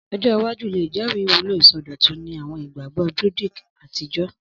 Ọjọ iwaju le jẹri iwulo isọdọtun ni awọn igbagbọ Druidic atijọ.